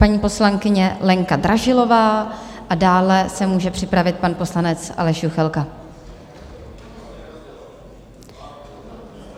Paní poslankyně Lenka Dražilová a dále se může připravit pan poslanec Aleš Juchelka.